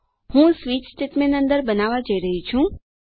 હું switch statement અંદર બનાવવા જઈ રહી છું